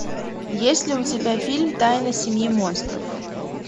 есть ли у тебя фильм тайна семьи монстров